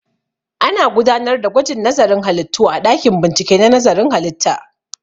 Ana gudanar da gwajin nazarin halittu a ɗakin bincike na nazarin halitta